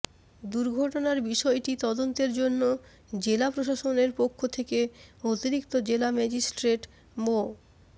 দুর্ঘটনার বিষয়টি তদন্তের জন্য জেলা প্রশাসনের পক্ষ থেকে অতিরিক্ত জেলা ম্যাজিস্টেট মো